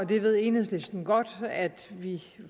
det ved enhedslisten godt at vi